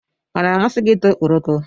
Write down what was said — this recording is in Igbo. Ọ na-amasị gị ị ta ọkpọrọko?